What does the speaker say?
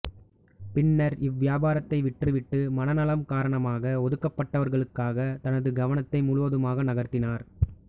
பின்னர் இவ்வியாபாரத்தை விற்றுவிட்டு மனநலம் காரணமாக ஒதுக்கப்பட்டவர்களுக்காக தனது கவனத்தை முழுவதுமாக நகர்த்தினார்